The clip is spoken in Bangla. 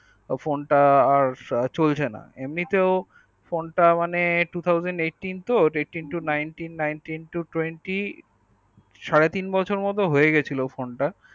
phone তে আর চলছে না এমনিতে phone তা মানে two thousand eighteen তো আর eighteen to nineteen nineteen to twenty সাড়ে তিন বছর মতো হয়েগেছিলো phone তা